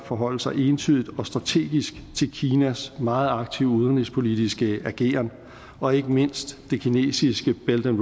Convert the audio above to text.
forholde sig entydigt og strategisk til kinas meget aktive udenrigspolitiske ageren og ikke mindst det kinesiske belt and